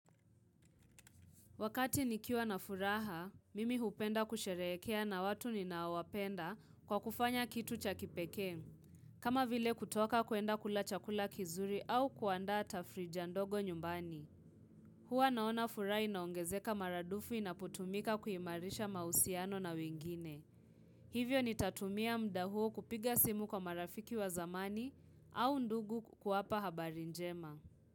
Wakati nikiwa na furaha, mimi hupenda kusherekea na watu ninaowapenda kwa kufanya kitu cha kipekee kama vile kutoka kuenda kula chakula kizuri au kuandaa tafrija ndogo nyumbani. Huwa naona furaha inaongezeka maradufu inapotumika kuimarisha mahusiano na wengine. Hivyo nitatumia muda huu kupiga simu kwa marafiki wa zamani au ndugu kuwapa habari njema.